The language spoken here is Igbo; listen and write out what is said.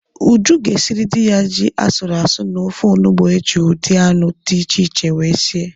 Uju ga-esiri di ya ji asụrụ asụ na ofe onubu eji ụdị anụ di iche iche wee sie